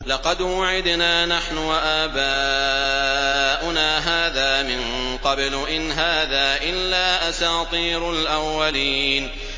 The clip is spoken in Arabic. لَقَدْ وُعِدْنَا نَحْنُ وَآبَاؤُنَا هَٰذَا مِن قَبْلُ إِنْ هَٰذَا إِلَّا أَسَاطِيرُ الْأَوَّلِينَ